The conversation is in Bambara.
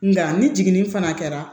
Nka ni jiginni fana kɛra